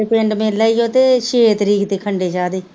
ਸਾਡੇ ਪਿੰਡ ਮੇਲਾ ਉਹ ਤੇ ਛੇ ਤਾਰੀਖ ਦੇ ਖੰਡੇ ਸ਼ਾਹ ਦੇ